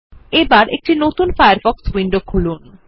এবং একটি নতুন ফায়ারফক্স উইন্ডো খুলন